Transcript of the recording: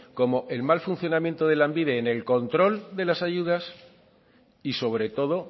como el mal funcionamiento de lanbide en el control de las ayudas y sobre todo